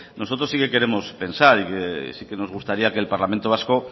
nosotros sí que queremos pensar y sí nos gustaría que el parlamento vasco